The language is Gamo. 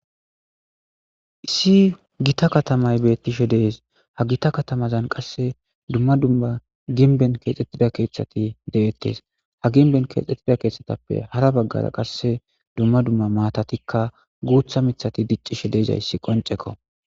issi gita katamay bettishe dees ha gita katamazan qasse dumma dumma ginben keexxettida keeththati de7ettes ha ginben keexxettida keeththatappe hara baggara qasse dumma dumma maatatikka guutha mithati diccishe deezayssi qonceko